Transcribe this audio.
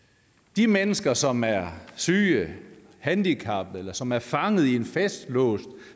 de mennesker som er syge handicappede eller som er fanget i en fastlåst